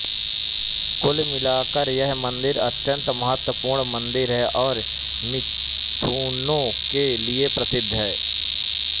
कुल मिलाकर यह मंदिर अत्यंत महत्वपूर्ण मंदिर है और मिथुनों के लिए प्रसिद्ध है